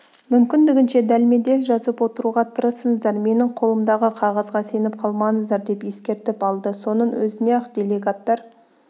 мүмкіндігінше дәлме-дәл жазып отыруға тырысыңыздар менің қолымдағы қағазға сеніп қалмаңыздар деп ескертіп алды соның өзінен-ақ делегаттар